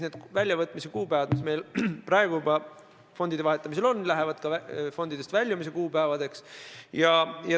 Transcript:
Kordan: need kuupäevad, mis meil praegu kehtivad fondide vahetamisel, saavad ka fondidest väljumise kuupäevadeks.